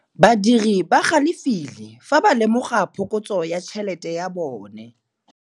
Badiri ba galefile fa ba lemoga phokotsô ya tšhelête ya bone.